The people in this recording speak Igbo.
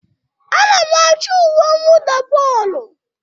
Ana m achọ uwe mwụda bọọlụ